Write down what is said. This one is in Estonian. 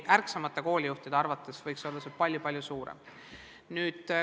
Ärksamate koolijuhtide arvates võiks see olla palju-palju suurem.